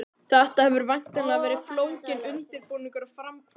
Þetta hefur væntanlega verið flókinn undirbúningur og framkvæmd?